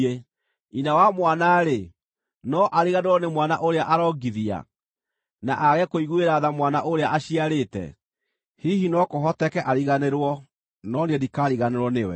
“Nyina wa mwana-rĩ, no ariganĩrwo nĩ mwana ũrĩa arongithia, na aage kũiguĩra tha mwana ũrĩa aciarĩte? Hihi no kũhoteke ariganĩrwo, no niĩ ndikaariganĩrwo nĩwe!